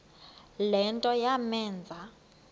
le nto yamenza